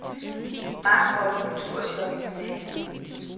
Mange får et kulturchok i gymnasiet.